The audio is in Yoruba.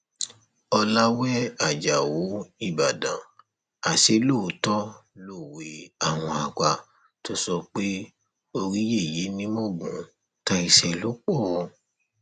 ọlàwé ajáò ìbàdàn àsè lóòótọ lọwẹ àwọn àgbà tó sọ pé orí yẹyẹ ni mọgun táìṣẹ lò pọ